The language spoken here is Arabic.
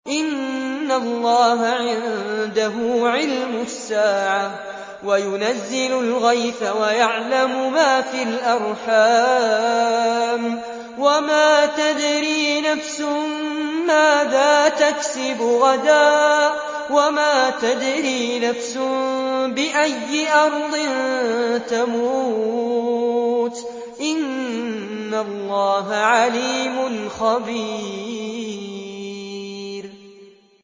إِنَّ اللَّهَ عِندَهُ عِلْمُ السَّاعَةِ وَيُنَزِّلُ الْغَيْثَ وَيَعْلَمُ مَا فِي الْأَرْحَامِ ۖ وَمَا تَدْرِي نَفْسٌ مَّاذَا تَكْسِبُ غَدًا ۖ وَمَا تَدْرِي نَفْسٌ بِأَيِّ أَرْضٍ تَمُوتُ ۚ إِنَّ اللَّهَ عَلِيمٌ خَبِيرٌ